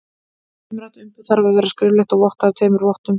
Umrætt umboð þarf að vera skriflegt og vottað af tveimur vottum.